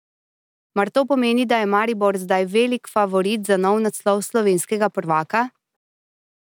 Mar to pomeni, da je Maribor zdaj velik favorit za nov naslov slovenskega prvaka?